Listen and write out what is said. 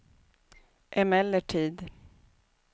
emellertid